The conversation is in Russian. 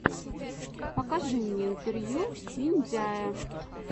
покажи мне интервью виндяя